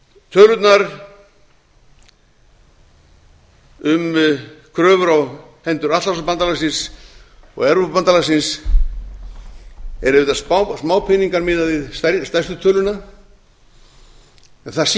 tölurnar um kröfur á hendur atlantshafsbandalagsins og evrópubandalagsins eru auðvitað smápeningar miðað við stærstu töluna en það